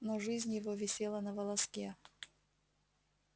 но жизнь его висела на волоске